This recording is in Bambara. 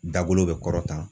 Da golo be kɔrɔta